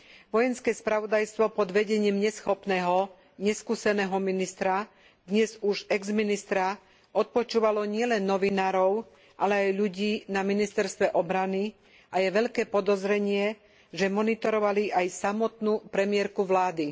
Vojenské spravodajstvo pod vedením neschopného, neskúseného ministra dnes už exministra odpočúvalo nielen novinárov, ale aj ľudí na ministerstve obrany a je veľké podozrenie, že monitorovali aj samotnú premiérku vlády.